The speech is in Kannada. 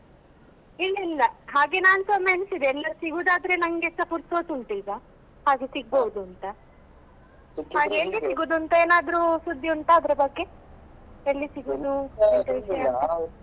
ಇಲ್ಲ ಇಲ್ಲ ಹಾಗೆ ನಾನುಸ ಒಮ್ಮೆ ಎನಿಸಿದೆ ಎಲ್ಲರು ಸಿಗುದಾದ್ರೆ ನಂಗೆಸ ಪುರ್ಸೊತ್ತು ಉಂಟು ಈಗ ಹಾಗೆ ಸಿಗ್ಬೋದು ಅಂತ ಹಾಗೆ ಎಲ್ಲಿ ಸಿಗುದು ಅಂತ ಏನಾದ್ರು ಸುದ್ದಿ ಉಂಟ ಅದರ ಬಗ್ಗೆ ಎಲ್ಲಿ ಸಿಗುದು ಎಂತ ವಿಷಯ ಅಂತ.